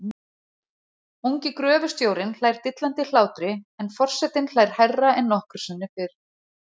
Ungi gröfustjórinn hlær dillandi hlátri en for- setinn hlær hærra en nokkru sinni fyrr.